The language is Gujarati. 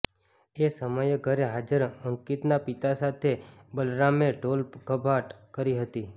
એ સમયે ઘરે હાજર અંકીતના પિતા સાથે બલરામે ઢોલધપાટ કરી હતી